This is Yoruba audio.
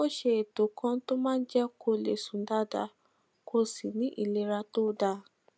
ó ṣe ètò kan tó máa jé kó lè sùn dáadáa kó sì ní ìlera tó dáa